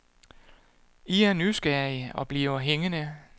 I er nysgerrige og bliver hængende.